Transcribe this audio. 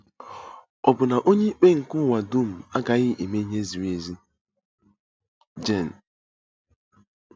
Ọ̀ bụ na Onyeikpe nke ụwa dum agaghị eme ihe ziri ezi? ”— Jen.